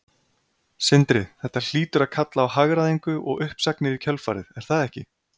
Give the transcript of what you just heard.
Sindri: Þetta hlýtur að kalla á hagræðingu og uppsagnir í kjölfarið, er það ekki?